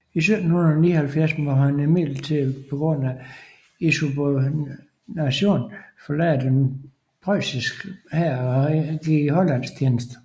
I 1779 måtte han imidlertid på grund af insubordination forlade den preussiske hær og gik i hollandsk tjeneste